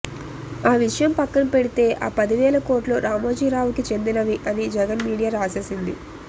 ఆ విషయం పక్కన పెడితే ఆ పదివేల కోట్లు రామోజీరావుకి చెందినవి అని జగన్ మీడియా రాసేసింది